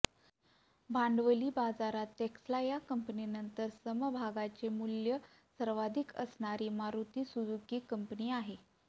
भांडवली बाजारात टेस्ला या कंपनीनंतर समभागाचे मूल्य सर्वाधिक असणारी मारुती सुझुकी कंपनी आहे